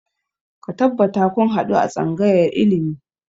Ka tabbata kun haɗu a tsangayar ilimi!